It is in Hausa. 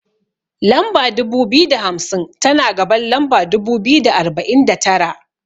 Lamba dubu biyu da hamsin, tana gaban lamba dubu biyu da arba'in da tara.